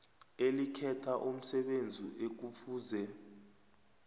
elikhetha umsebenzi ekufuze